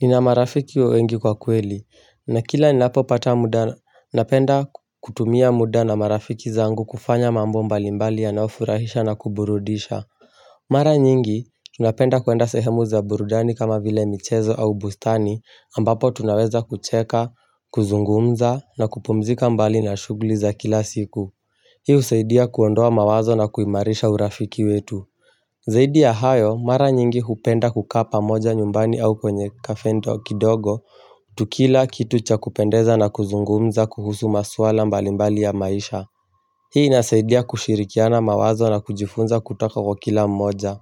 Nina marafiki wengi kwa kweli na kila ninapopata muda napenda kutumia muda na marafiki zangu kufanya mambo mbali mbali yanayofurahisha na kuburudisha Mara nyingi tunapenda kuenda sehemu za burudani kama vile michezo au bustani ambapo tunaweza kucheka, kuzungumza na kupumzika mbali na shughuli za kila siku Hii husaidia kuondoa mawazo na kuimarisha urafiki wetu Zaidi ya hayo mara nyingi hupenda kukaa pamoja nyumbani au kwenye cafe kidogo Tukila kitu cha kupendeza na kuzungumza kuhusu maswala mbalimbali ya maisha Hii inasaidia kushirikiana mawazo na kujifunza kutoka kwa kila mmoja